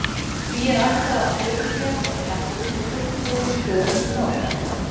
því er ætlað að prufukeyra þá tækni sem fullbúin stöð mun nota